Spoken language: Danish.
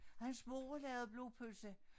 Og hans mor lavede blodpølse